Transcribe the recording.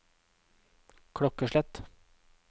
klokkeslett